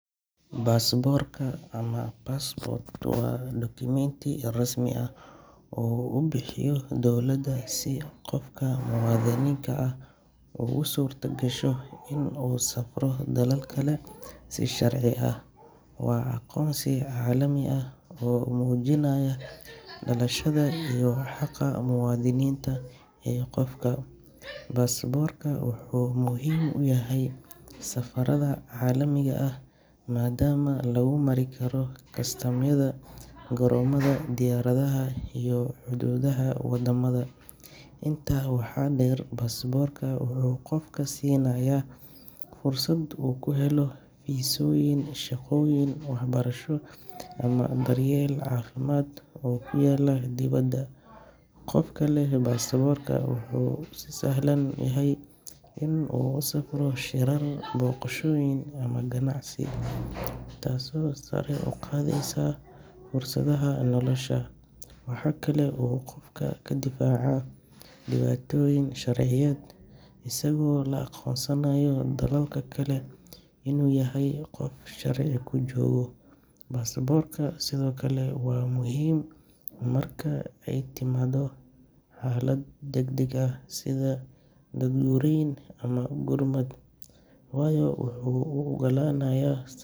Baasaboorka ama passport waa dukumeenti rasmi ah oo uu bixiyo dowladda si qofka muwaadinka ah ugu suurtagasho inuu u safro dalal kale si sharci ah. Waa aqoonsi caalami ah oo muujinaya dhalashada iyo xaqa muwaadinimada ee qofka. Baasaboorka wuxuu muhiim u yahay safarrada caalamiga ah maadaama lagu mari karo kastamyada garoomada diyaaradaha iyo xuduudaha waddamada. Intaa waxaa dheer, baasaboorka wuxuu qofka siinayaa fursad uu ku helo fiisooyin, shaqooyin, waxbarasho ama daryeel caafimaad oo ku yaalla dibadda. Qofka leh baasaboorka wuu ka sahlan yahay inuu u safro shirar, booqashooyin ama ganacsi, taasoo sare u qaadaysa fursadaha nolosha. Waxa kale oo uu qofka ka difaacaa dhibaatooyin sharciyeed, isagoo lagu aqoonsanayo dalalka kale inuu yahay qof sharci ku jooga. Baasaboorku sidoo kale waa muhiim marka ay timaado xaalado degdeg ah, sida daadgureyn ama gurmad, waayo wuxuu u oggolaanaya.